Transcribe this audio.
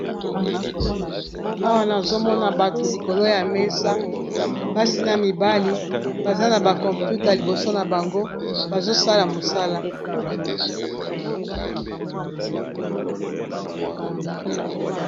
Awa nazomona bato likolo ya mesa basi na mibali baza na ba computa liboso na bango bazosala mosala.